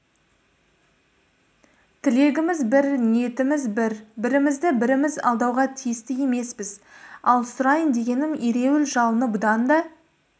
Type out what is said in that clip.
тілегіміз бір ниетіміз бір бірімізді біріміз алдауға тиісті емеспіз ал сұрайын дегенім ереуіл жалыны бұдан да